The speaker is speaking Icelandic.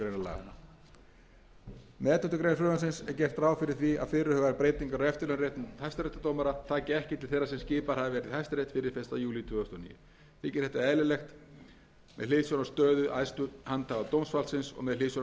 greinar með elleftu greinar frumvarpsins er gert ráð fyrir því að fyrirhugaðar breytingar á eftirlaunaréttindum hæstaréttardómara taki ekki til þeirra sem skipaðir hafa verið í hæstarétt fyrir fyrsta júlí tvö þúsund og níu þykir þetta eðlileg regla með hliðsjón af stöðu æðstu handhafa dómsvaldsins og með hliðsjón af þeim